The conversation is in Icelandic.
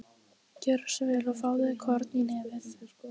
Gjörðu svo vel og fáðu þér korn í nefið.